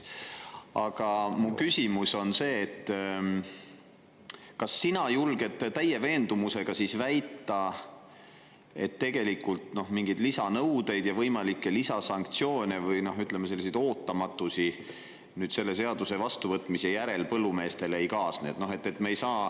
Aga mu küsimus on see, et kas sa julged täie veendumusega väita, et tegelikult mingeid lisanõudeid ja võimalikke lisasanktsioone, või ütleme, ootamatusi selle seaduse vastuvõtmise järel põllumeestele ei kaasne.